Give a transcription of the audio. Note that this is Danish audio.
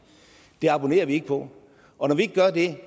abonnerer vi ikke på og når vi ikke gør det